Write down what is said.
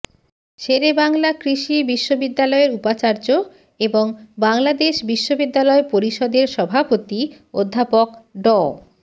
শেরেবাংলা কৃষি বিশ্ববিদ্যালয়ের উপাচার্য এবং বাংলাদেশ বিশ্ববিদ্যালয় পরিষদের সভাপতি অধ্যাপক ড